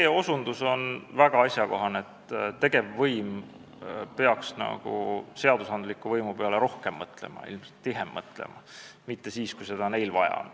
See osutus on väga asjakohane, et tegevvõim peaks seadusandliku võimu peale rohkem mõtlema ja ilmselt tihemini mõtlema, mitte ainult siis, kui neil seda vaja on.